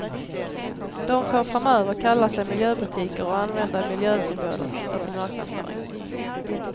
De får framöver kalla sig miljöbutiker och använda miljösymboler i sin marknadsföring.